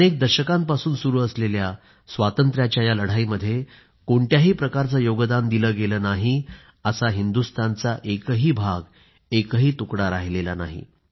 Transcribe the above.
अनेक दशकांपासून सुरू असलेल्या स्वातंत्र्याच्या या लढाईमध्ये कोणत्याही प्रकारचे योगदान दिले गेले नाही असा या हिंदुस्तानचा एकही भाग एकही तुकडा राहिलेला नाही